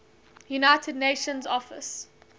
united nations office